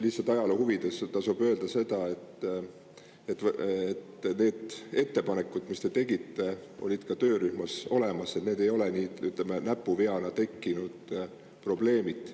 Lihtsalt ajaloo huvides tasub öelda seda, et need ettepanekud, mis te tegite, olid ka töörühmas olemas ja need ei ole, ütleme, näpuveana tekkinud probleemid.